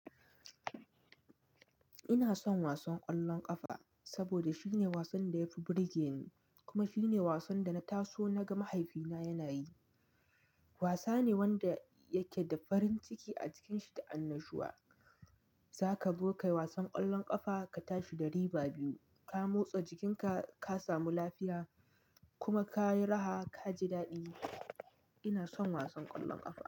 Ina son wasan ƙwallon ƙafa saboda shine wasan da ya fi burge ni kuma shine wasan da na taso na ga mahaifina yana yi. Wasa ne wanda yake da farin ciki a cikin shi da annashuwa. Zaka buƙi wasan ƙwallon ƙafa ka tashi da riba biyu, ka motsa jikinka ka samu lafiya kuma ka yi raha ka ji daɗi. Ina son wasan ƙwallon ƙafa.